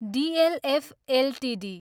DLF Ltd